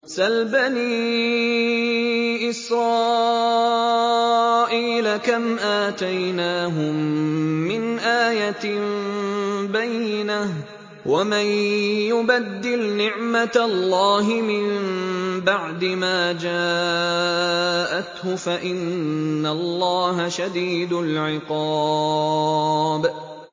سَلْ بَنِي إِسْرَائِيلَ كَمْ آتَيْنَاهُم مِّنْ آيَةٍ بَيِّنَةٍ ۗ وَمَن يُبَدِّلْ نِعْمَةَ اللَّهِ مِن بَعْدِ مَا جَاءَتْهُ فَإِنَّ اللَّهَ شَدِيدُ الْعِقَابِ